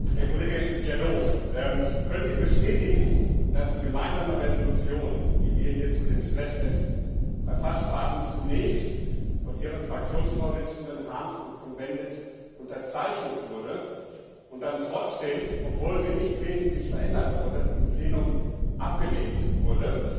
Herr Kollege Jadot! Können Sie bestätigen, dass die Gemeinsame Entschließung, die wir hier zu den Stresstests verfasst haben, zunächst von Ihren Fraktionsvorsitzenden Harms und Cohn Bendit unterzeichnet wurde und dann trotzdem, obwohl sie nicht wesentlich verändert wurde, im Plenum abgelehnt wurde?